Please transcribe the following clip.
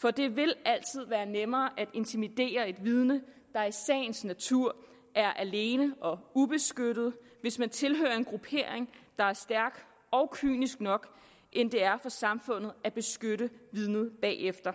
for det vil altid være nemmere at intimidere et vidne der i sagens natur er alene og ubeskyttet hvis man tilhører en gruppering der er stærk og kynisk nok end det er for samfundet at beskytte vidnet bagefter